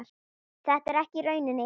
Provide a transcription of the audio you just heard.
Þetta er ekki raunin.